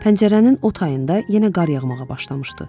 Pəncərənin o tayında yenə qar yağmağa başlamışdı.